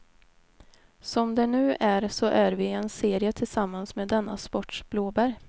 Som det nu är så är vi i en serie tillsammans med denna sports blåbär.